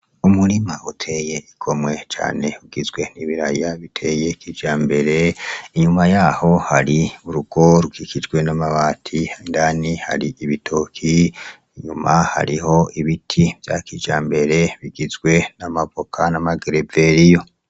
Umurima uteye igomwe cane ugizwe n'ibiraya biteye kijambere; inyuma yaho hari urugo rukikijwe n'amabati, indani hari ibitoke, inyuma hariho ibiti vya kijambere bigizwe n'amavoka n'amagereveriyo.